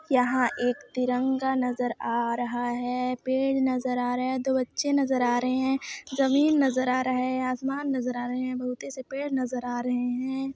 यहाँ एक तिरंगा नजर आ रहा है पेड़ नजर आ रहे है दो बच्चे नजर आ रहे है जमींन नजर आ रहा है आसमान नजर आ रहे है बहुत ही से पेड़ नजर आ रहे है।